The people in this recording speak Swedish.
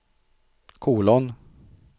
kolon